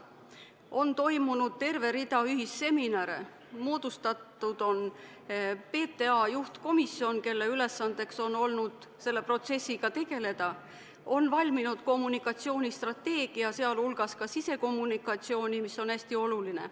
On toimunud terve rida ühisseminare, moodustatud on PTA juhtkomisjon, kelle ülesandeks on olnud selle protsessiga tegeleda, on valminud kommunikatsioonistrateegia, sealhulgas ka sisekommunikatsiooni strateegia, mis on hästi oluline.